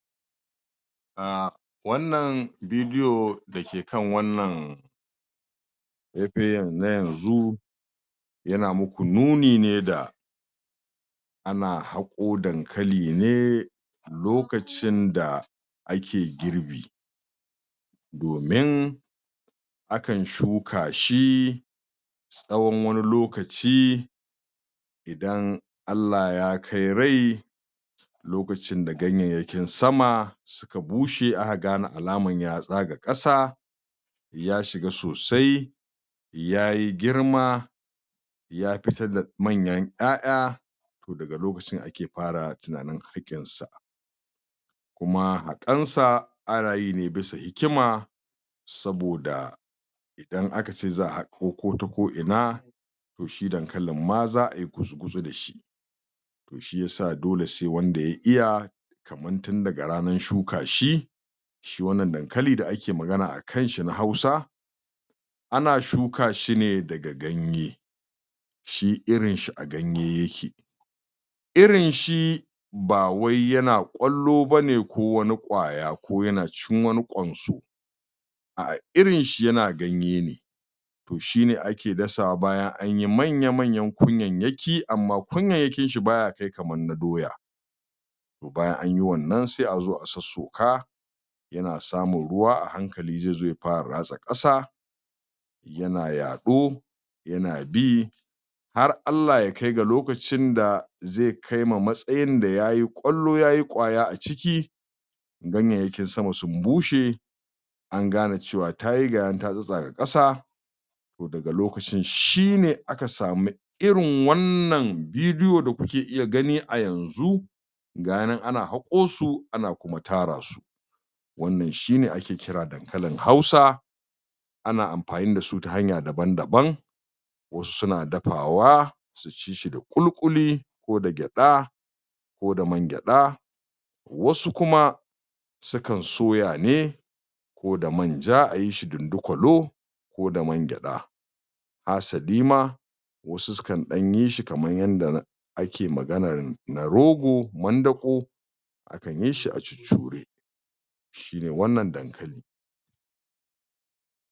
um Wannan bidiyo da ke kan wannan faifayin na yanzu yana muku nuni ne da ana haƙo dankali ne lokacin da ake girbi domin akan shuka shi tsawon wani lokaci idan Allah Ya kai rai lokacin da ganyayyakin sama suka bushe aka gane alaman ya tsaga ƙasa ya shiga sosai ya yi girma ya fitar da manyan ƴaƴa to daga lokacin ake fara tunanin haƙinsa kuma haƙansa ana yi ne bisa hikima saboda in aka ce za a haƙo ko ta ko ina to shi dankalin ma za a yi gutsu-gutsu da shi shi ya sa dole sai wanda ya iya kamar tun daga ranar shuka shi Shi wannan dankali da ake magana a kan shi na Hausa ana shuka shi ne daga ganye shi irin shi a ganye yake Irin shi ba wai yana wani ƙwallo ba ne ko wani ƙwaya ko yana cikin wani ƙwanso irin shi yana ganye ne To shi ne ake dasawa bayan an yi manya-manyan kunyayyaki amma kunyayyakin shi ba ya kai kamar na doya Bayan an yi wannan sai a zo a sossoka Yana samun ruwa a hankali zai zo ya fara ratsa ƙasa yana yaɗo yana bi, har Allah ya kai ga lokacin da zai kai ma matsayin da ya yi ƙwallo, ya yi ƙwaya a ciki ganyayyakin sama sun bushe an gane lokacin cewa ta yi ga ya nan ta tsattsaga ƙasa To daga lokacin shi ne aka samu irin wannan bidiyo da kuke iya gani a yanzu Ga shi nan ana haƙo su ana kuma tara su Wannan shi ne ake kira dankalin Hausa Ana amfani da su ta hanya dabn-daban wasu suna dafawa, su ci shi da ƙuli-ƙuli ko da gyaɗa ko da mangyaɗa wasu kuma sukan soya ne ko da manja--a yi shi dindikwalo ko da mangyaɗa hasali ma, wasu sukan ɗan yi shi kamar yadda ake maganar na rogo--mandaƙo. Sukan yi shi a cuccure Shi ne wannan dankalin.